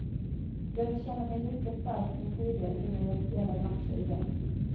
Jag vill känna mig lika stark som tidigare innan jag spelar matcher igen.